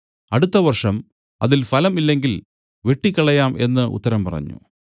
അടുത്ത വർഷം അതിൽ ഫലം ഇല്ലെങ്കിൽ വെട്ടിക്കളയാം എന്നു ഉത്തരം പറഞ്ഞു